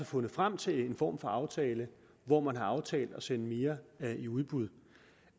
fundet frem til en form for aftale hvor man har aftalt at sende mere i udbud